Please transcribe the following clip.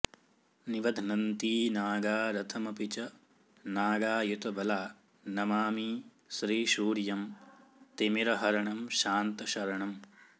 निबध्नन्ती नागा रथमपि च नागायुतबला नमामि श्रीसूर्यं तिमिरहरणं शान्तशरणम्